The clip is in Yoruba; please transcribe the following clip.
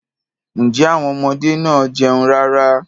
Ǹjẹ́ àwon ọmọdé máa ń jẹun rárá?